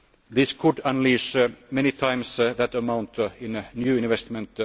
Bank. This could unleash many times that amount in new investment.